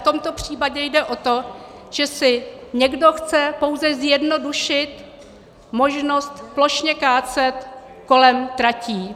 V tomto případě jde o to, že si někdo chce pouze zjednodušit možnost plošně kácet kolem tratí.